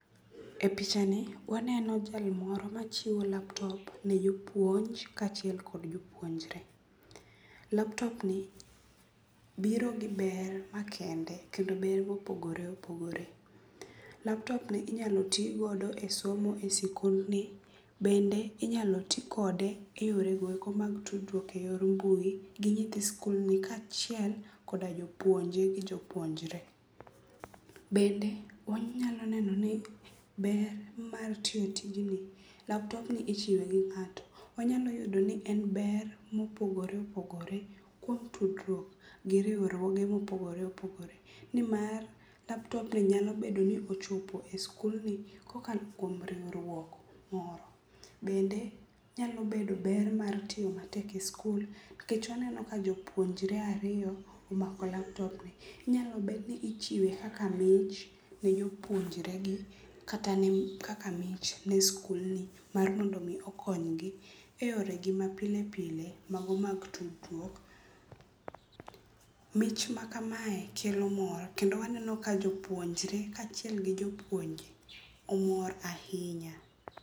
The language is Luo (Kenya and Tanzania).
E pichani waneno jal moro machiwo laptop ne jopuonj kaachiel kod jopuonjre. Laptopni biro gi ber makende kendo ber mopogore opogore. Laptopni inyalo tigodo e somo e sikundni bende inyalo tikode e yorego eko mag tudruok e yor mbui gi nyithi skulni kaachiel koda jopuonje gi jopuonjre. Bende wanyalo neno ni ber mar tiyo tijni, laptopni ichiwe gi ng'ato. Wanyalo yudo ni en ber mopogore opogore kuom tudruok gi riwruoge mopogore opogore nimar laptopni nyalo bedo ni ochopo e skulni kokalo kuom riwruok moro. bende onyalo bedo ber mar tiyo matek e skul nikech aneno ka jopuonje ariyo omako laptopni, inyalo bed ni ichiwe kaka mich ne jopuonjregi kaata kaka mich ne skulni mar mondo omi okonygi e yoregi mapile pile mago mag tudruok. Mich ma kamae kelo mor kendo waneno ka jopuonjre kaachiel gi jopuonje omor ahinya.